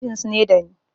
Sebins ne dani